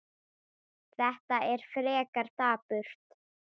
Þetta er frekar dapurt.